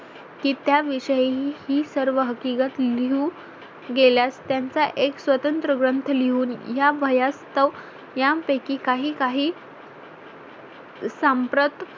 की त्या विषयी ही सर्व हकीकत लिहून गेल्यास त्यांचा एक स्वतंत्र ग्रंथ लिहून या भयास्तव यापैकी काही काही सांप्रत